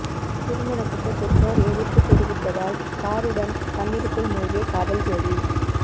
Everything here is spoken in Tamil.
திருமணத்துக்கு பெற்றோர் எதிர்ப்பு தெரிவித்ததால் காருடன் தண்ணீருக்குள் மூழ்கிய காதல் ஜோடி